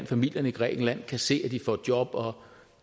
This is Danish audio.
familierne i grækenland kan se at de får et job og